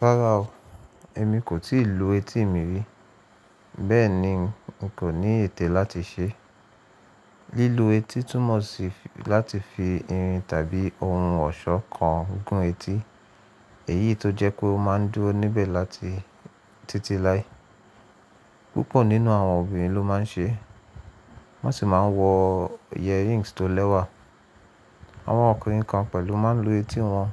Rárá o, èmi kò tíì lu etí mi rí, bẹ́ẹ̀ ni n kò ní ètè láti ṣe. Lílu etí túmọ̀ sí láti fi irin tàbí ohun ọ̀ṣọ́ kan gún etí, èyí tó jẹ́ kó máa ń dúró níbẹ̀ láti títí lái. Púpọ̀ nínú àwọn obìnrin ló máa ń ṣe, wọ́n sì máa ń wọ earrings tó lẹ́wà. Àwọn ọkùnrin kan pẹ̀lú máa ń lu etí wọn,